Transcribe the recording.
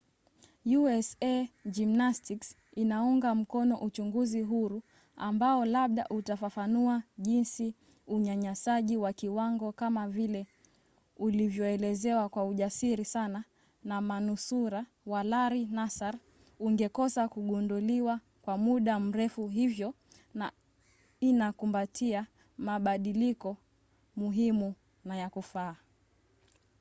usa gymnastics inaunga mkono uchunguzi huru ambao labda utafafanua jinsi unyanyasaji wa kiwango kama vile ulivyoelezewa kwa ujasiri sana na manusura wa larry nassar ungekosa kugunduliwa kwa muda mrefu hivyo na inakumbatia mabadiliko muhimu na ya kufaa